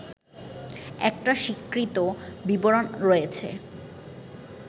একটা স্বীকৃত বিবরণ রয়েছে